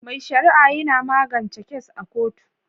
Mai sharia yina magance kes a kotu